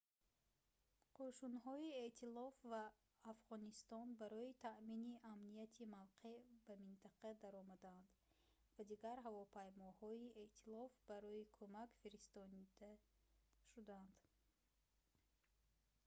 кӯшунҳои эътилоф ва афғонистон барои таъмини амнияти мавқеъ ба минтақа даромаданд ва дигар ҳавопаймоҳои эътилоф барои кумак фиристода шуданд